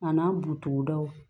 A n'an butogodaw